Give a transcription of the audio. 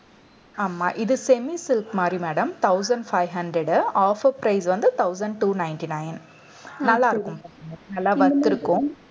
ஆமா இது semi silk மாதிரி madam thousand five hundred offer price வந்து thousand two ninety-nine நல்லாருக்கும். நல்லா worth இருக்கும்